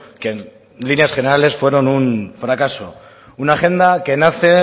que en líneas generales fueron un fracaso una agenda que nace